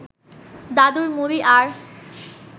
দাদুর মুড়ি আর